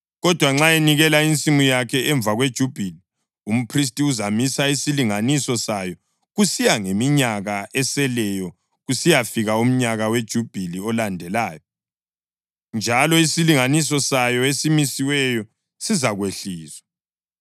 Kodwa nxa enikela insimu yakhe emva kweJubhili, umphristi uzamisa isilinganiso sayo kusiya ngeminyaka eseleyo kusiyafika umnyaka weJubhili olandelayo, njalo isilinganiso sayo esimisiweyo sizakwehliswa.